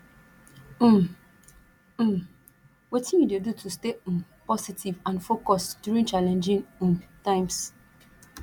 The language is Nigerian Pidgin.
um um wetin you dey do to stay um positive and focused during challenging um times